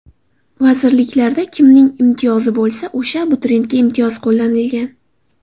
Vazirliklarda kimning imtiyozi bo‘lsa, o‘sha abituriyentga imtiyoz qo‘llanilgan.